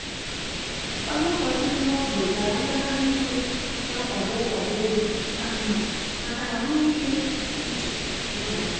Onye ụkọchukwu n’ógbè gara ngagharị iwe na-akwado nkwado ego ka mma maka ahụike uche n’ụlọ akwụkwọ.